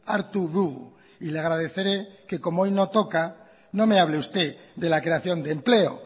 hartu dugu y le agradeceré que como hoy no toca no me hable usted de la creación de empleo